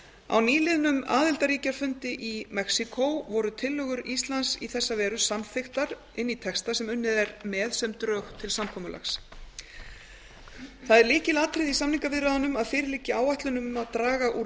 á nýliðnum aðildarríkjafundi í mexíkó voru tillögur íslands í þessa veru samþykktar inn í texta sem unnið er með sem drög til samkomulags það er lykilatriði í samningaviðræðunum að fyrir liggi áætlun um að draga úr